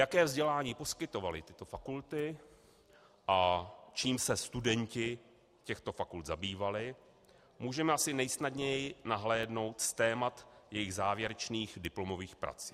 Jaké vzdělání poskytovaly tyto fakulty a čím se studenti těchto fakult zabývali, můžeme asi nejsnadněji nahlédnout z témat jejich závěrečných diplomových prací.